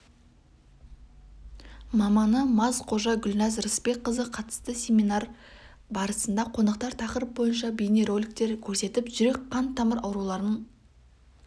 маманы мазқожа гүлназ рысбекқызы қатысты семинар барысында қонақтар тақырып бойынша бейнероликтер көрсетіп жүрек-қан тамырларының аурулары